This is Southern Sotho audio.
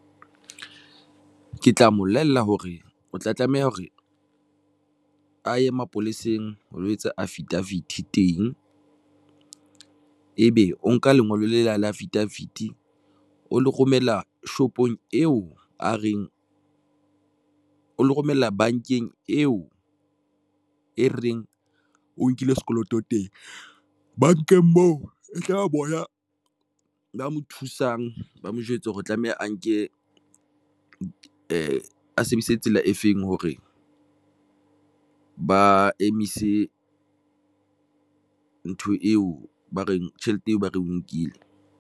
Ke tla mobolella hore o tla tlameha hore a ye mapoleseng. O lo etsa affidavit teng, ebe o nka lengolo lena la affidavit o le romela shopong eo a reng o lo romella bankeng eo e reng o nkile sekoloto teng bankeng moo e tla ba bona ba mo thusang, ba mo jwetse hore tlameha a nke tsela e feng hore ba emise ntho eo ba reng tjhelete eo, ba re nkile.